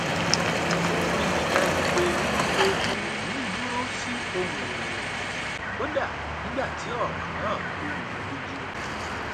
o rí i dájú pé ohùn òun dúró sí ohùn ìrẹlẹ kódà nígbà tí ọrọ náà ọrọ náà rú u lójú